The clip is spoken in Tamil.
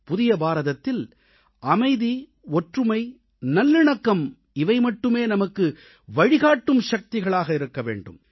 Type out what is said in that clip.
புதிய பாரதத்தில் அமைதி ஒற்றுமை நல்லிணக்கம் மட்டுமே நமக்கு வழிகாட்டும் சக்திகளாக இருக்க வேண்டும்